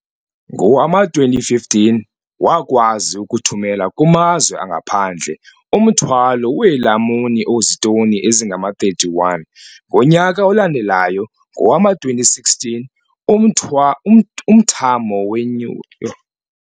Ngowama-2015, wakwazi ukuthumela kumazwe angaphandle umthwalo weelamuni ozitoni ezingama-31. Ngonyaka olandelayo, ngowama-2016, umthwa umthamo wenyu. Yho!